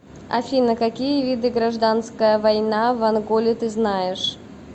афина какие виды гражданская война в анголе ты знаешь